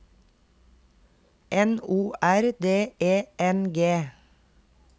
N O R D E N G